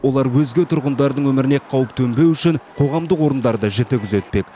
олар өзге тұрғындардың өміріне қауіп төнбеу үшін қоғамдық орындарды жіті күзетпек